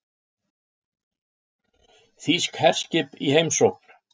Þýsk herskip í heimsókn